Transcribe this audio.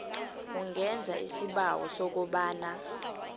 ungenza isibawo sokobana